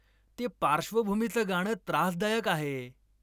ते पार्श्वभूमीचं गाणं त्रासदायक आहे